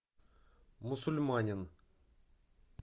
мусульманин